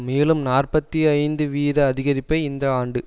மேலும் நாற்பத்தி ஐந்து வீத அதிகரிப்பை இந்த ஆண்டு